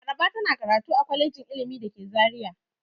Laraba tana karatu a kwalejin ilimi da ke Zariya.